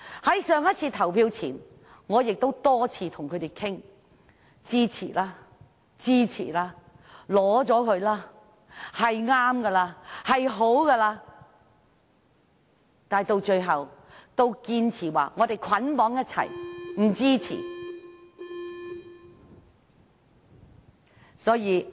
在上次投票之前，我曾多次與他們商討，說支持吧，同意吧，是正確的，是好的，但他們最後都堅持要捆綁在一起，不支持。